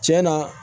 Tiɲɛ na